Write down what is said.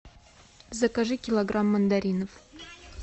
закажи килограмм мандаринов